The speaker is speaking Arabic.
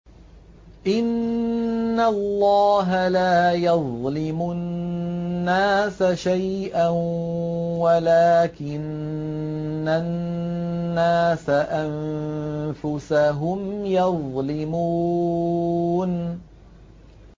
إِنَّ اللَّهَ لَا يَظْلِمُ النَّاسَ شَيْئًا وَلَٰكِنَّ النَّاسَ أَنفُسَهُمْ يَظْلِمُونَ